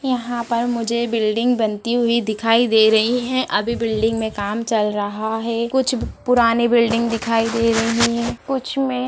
यहां पर मुझे बिल्डिंग बनती हुई दिखाई दे रही है अभी बिल्डिंग में काम चल रहा है कुछ पुरानी बिल्डिंग दिखाई दे रही है कुछ मे --